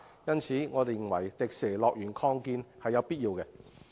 因此，我認為擴建迪士尼樂園是有必要的。